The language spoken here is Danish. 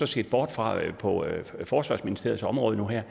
set bort fra på forsvarsministeriets område nu her